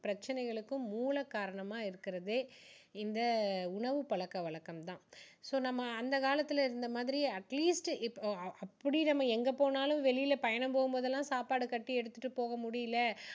பிரச்சனைகளுக்கும் மூலக் காரணமா இருக்குறதே இந்த உணவு பழக்க வழக்கம் தான் so நம்ம அந்த காலத்துல இருந்த மாதிரி atleast இப்ப~ அப்படி நம்ம எங்க போனாலும் வெளியில பயணம் போகும் போது எல்லாம் சாப்பாடு கட்டி எடுத்துட்டு போக முடியல